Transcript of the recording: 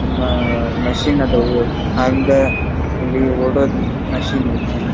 Machine ಅದಾವ್ ಹಂಗೆ ಇಲ್ಲಿ ಓಡೋದ್ ಮಶೀನ್ ಐತಿ.